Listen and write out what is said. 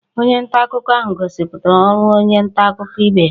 Onye nta akụkọ ahụ gosipụtara ọrụ onye nta akụkọ ibe ya